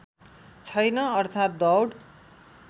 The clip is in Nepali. छैन अर्थात् दौड